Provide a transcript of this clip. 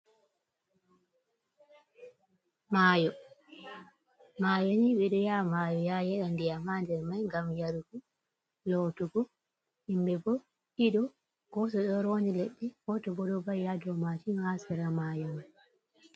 Mayo, mayo ni ɓedo ya mayo ya yeda ndiyam ha nder mai ngam yarugo, lotugo, himɓɓe bo ɗiɗo goto ɗo rondi leɗɗe, goto bo ɗo va'i ha dou mashin ha sera mayo mai.